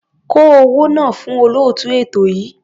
Kó owó náà fún olóòtú ètò yìí.